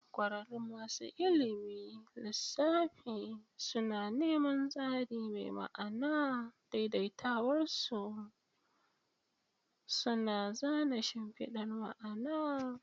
Kwararrun masu ilimin lissafi suna neman tsari mai ma'ana, daidaitawarsu suna zana shimfidar ma'ana.